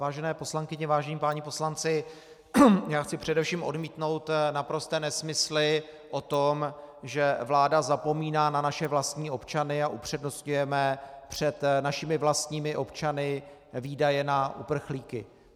Vážené poslankyně, vážení páni poslanci, já chci především odmítnout naprosté nesmysly o tom, že vláda zapomíná na naše vlastní občany a upřednostňujeme před našimi vlastními občany výdaje na uprchlíky.